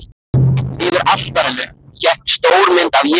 Yfir altarinu hékk stór mynd af Jesú.